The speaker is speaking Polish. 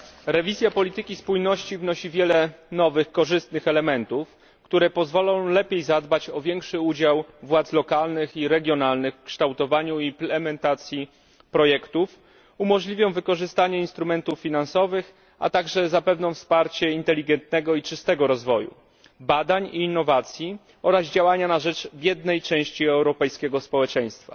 Rewizja polityki spójności wnosi wiele nowych, korzystnych elementów, które pozwolą lepiej zadbać o większy udział władz lokalnych i regionalnych w kształtowaniu i implementacji projektów, umożliwią wykorzystanie instrumentów finansowych, a także zapewnią wsparcie inteligentnego i czystego rozwoju, badań i innowacji oraz działania na rzecz biednej części europejskiego społeczeństwa.